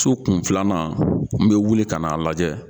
Su kun filanan n bɛ wuli ka n'a lajɛ.